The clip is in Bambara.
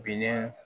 Bin